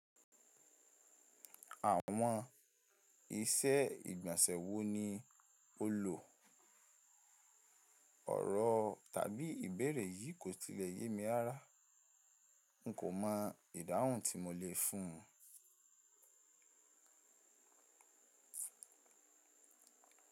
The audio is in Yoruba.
Àwọn iṣẹ́ ìgbọ̀nsẹ̀ wo ni o lò? Ọ̀rọ̀ tàbí ìbéèrè yìí kò tilẹ̀ yé mi rara. N kò mọ ìdáhùn tí mo lè fún un.